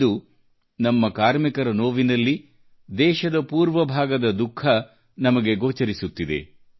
ಇಂದು ನಮ್ಮ ಕಾರ್ಮಿಕರ ನೋವಿನಲ್ಲಿ ನಾವು ದೇಶದ ಪೂರ್ವ ಭಾಗದ ದುಃಖವನ್ನು ನೋಡಲು ಸಾಧ್ಯವಾಗುತ್ತಿದೆ